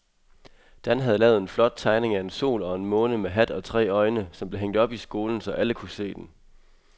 Dan havde lavet en flot tegning af en sol og en måne med hat og tre øjne, som blev hængt op i skolen, så alle kunne se den.